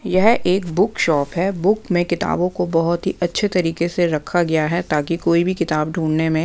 यह एक book shop हैं बुक में किताबों को बहुत ही अच्छे तरीके से रखा गया हैं ताकि कोई भी किताब ढूंढने में--